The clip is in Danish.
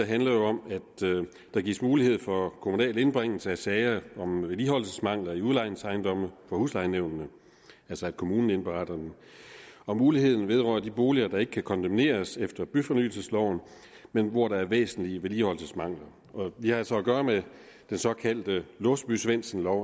handler om at der gives mulighed for kommunal indbringelse af sager om vedligeholdelsesmangler i udlejningsejendomme for huslejenævnene altså at kommunen indberetter dem og muligheden vedrører de boliger der ikke kan kondemneres efter byfornyelsesloven men hvor der er væsentlige vedligeholdelsesmangler vi har altså at gøre med den såkaldte låsby svendsen lov